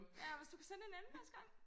Ja og hvis du kan sende en anden næste gang